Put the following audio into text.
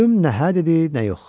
Plyum nəhə dedi, nə yox.